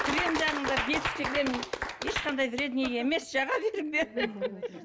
крем жағыңдар детский крем ешқандай вредный емес жаға беріңдер